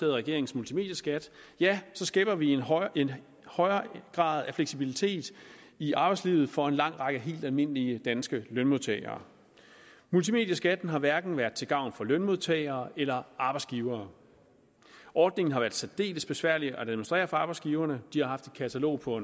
regerings multimedieskat skaber vi en højere en højere grad af fleksibilitet i arbejdslivet for en lang række helt almindelige danske lønmodtagere multimedieskatten har hverken været til gavn for lønmodtagere eller arbejdsgivere ordningen har været særdeles besværlig at administrere for arbejdsgiverne de har haft et katalog på